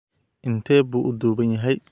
Intee buu u dhuuban yahay?